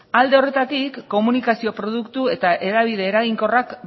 alde horretatik komunikazio produktu eta hedabide eraginkorrak